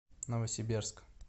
новосибирск